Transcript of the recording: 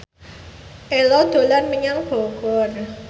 Ello dolan menyang Bogor